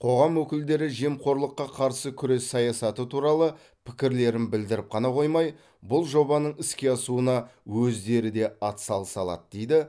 қоғам өкілдері жемқорлыққа қарсы күрес саясаты туралы пікірлерін білдіріп қана қоймай бұл жобаның іске асуына өздері де атсалыса алады дейді